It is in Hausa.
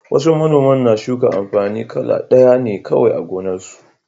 Wasu manoman na shuka amfani kala ɗaya ne kawai a gonarsu.